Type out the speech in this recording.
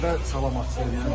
Burda salamatçılıq.